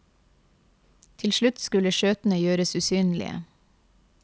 Til slutt skulle skjøtene gjøres usynlige.